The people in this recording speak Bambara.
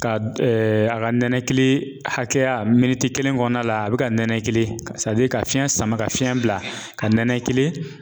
Ka a ka nɛnɛkili hakɛya miniti kelen kɔnɔna la a bɛ ka nɛnɛkili ka fiɲɛ sama ka fiɲɛ bila ka nɛnɛkili